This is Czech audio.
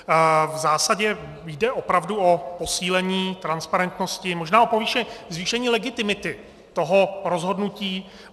V zásadě jde opravdu o posílení transparentnosti, možná o zvýšení legitimity toho rozhodnutí.